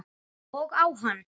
Og á hann.